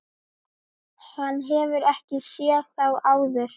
Hann hefur ekki séð þá áður.